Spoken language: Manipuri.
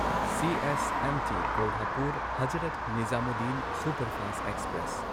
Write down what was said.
CSMT Kolhapur Hazrat Nizamuddin superfast express